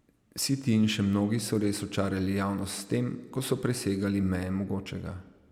Vsi ti in še mnogi so res očarali javnost s tem, ko so presegali meje mogočega.